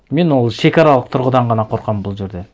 мен ол шекаралық тұрғыдан ғана қорқамын бұл жерде